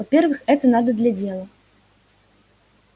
во-первых это надо для дела